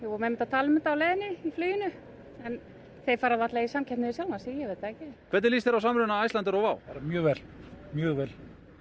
vorum einmitt að tala um þetta á leiðinni í fluginu en þeir fara varla í samkeppni við sjálfa sig ég veit það ekki hvernig lýst þér á samruna Icelandair og WOW bara mjög vel mjög vel